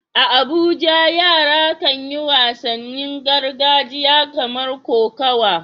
A Abuja yara kan yi wasannin gargajiya kamar kokawa.